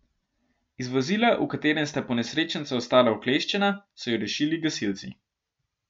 Iz vozila, v katerem sta ponesrečenca ostala ukleščena, so ju rešili gasilci.